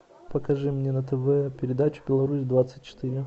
покажи мне на тв передачу беларусь двадцать четыре